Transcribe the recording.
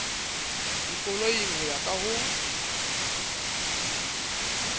dikoloing ho ya ka ho